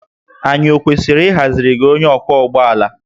Anyị ọ kwesịrị ịhaziri gị onye ọkwọ ụgbọ ala?